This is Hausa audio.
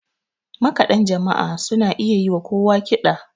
makaɗan jama'a suna iya yi wa kowa kiɗa